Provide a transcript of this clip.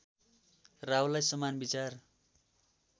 राहुलाई समान विचार